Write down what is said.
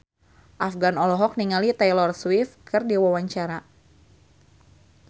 Afgan olohok ningali Taylor Swift keur diwawancara